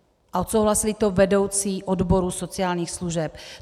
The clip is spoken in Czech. A odsouhlasili to vedoucí odborů sociálních služeb.